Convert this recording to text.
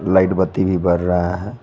Light बत्ती भी बर रहा है।